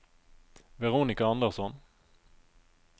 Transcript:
Veronika Andersson